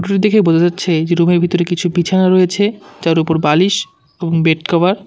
ছবিটি দেখে বোঝা যাচ্ছে যে রুমের ভেতরে কিছু বিছানা রয়েছে যার উপর বালিশ এবং বেড কভার --